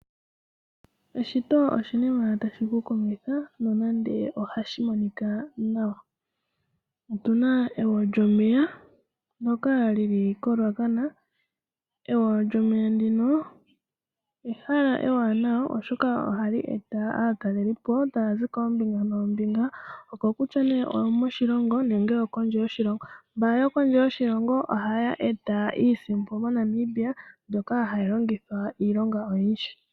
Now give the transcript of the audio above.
Eshito oshinima tashi ku kumitha nonando ohashi monika nawa. Otu na egwo lyomeya, ndyoka li li koRuacana. Egwo lyomeya ewanawa, oshoka ohali eta aatalelipo taya zi koombinga noombinga, kutya nduno oyokondje yoshilongo nenge oyomeni lyoshilongo. Mboka yokondje yoshilongo ohaya eta iisimpo moNamibia mbyoka hayi longithwa iilonga oyindji.